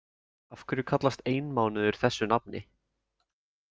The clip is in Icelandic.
Af hverju kallast einmánuður þessi nafni?